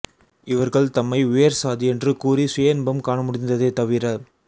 இவர்கள் தம்மை உயர்சாதி என்று கூறி சுயஇன்பம் காண முடிந்ததே தவிர